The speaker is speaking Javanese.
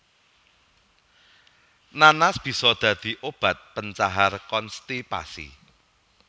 Nanas bisa dadi obat pencahar konstipasi